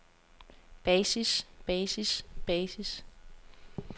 basis basis basis